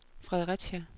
Fredericia